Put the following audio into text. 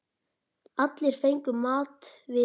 Allir fengu mat við hæfi.